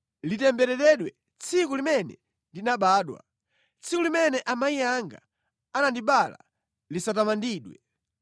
Litembereredwe tsiku limene ndinabadwa! Tsiku limene amayi anga anandibereka lisatamandidwe!